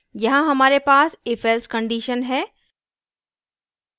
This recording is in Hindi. यहाँ हमारे पास ifelse condition है